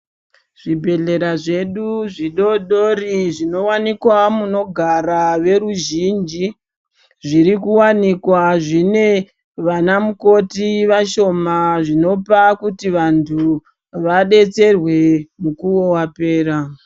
Zvibhehlera zvedu zvidodori zvinowanikwa munogara veruzhinji zvirikuwanikwa zvine vanamukoti vashoma zvinopa kuti vantu vabetserwe mukuwo wapera.